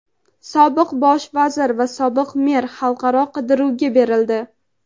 Sobiq bosh vazir va sobiq mer xalqaro qidiruvga berildi.